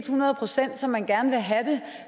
hundrede procent som man gerne vil have det